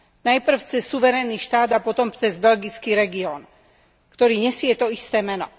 Najprv cez suverénny štát a potom cez belgický región, ktorý nesie to isté meno.